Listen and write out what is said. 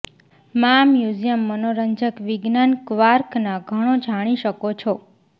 માં મ્યુઝિયમ મનોરંજક વિજ્ઞાન કવાર્કના ઘણો જાણી શકો છો